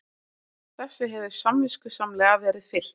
Þessu hefur samviskusamlega verið fylgt eftir